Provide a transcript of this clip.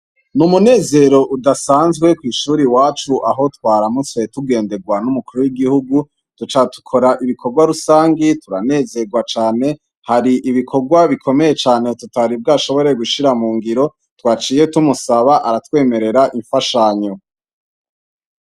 Ni umunezero udasanzwe kwishure iwacu aho twaramutse tugenderwa n'umukuru w'igihugu, duca dukora ibikorwa rusangi hari ibikorwa tutati bwashire mugira waciye tubimwiganira aca aratwemerera imfashanyo.